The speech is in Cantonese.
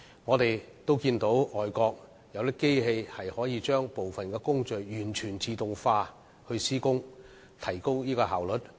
我們看到外國有些機器可以令部分工序完全自動化地施工，以提高效率。